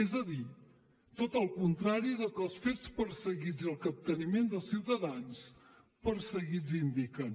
és a dir tot el contrari del que els fets perseguits i el capteniment dels ciutadans perseguits indiquen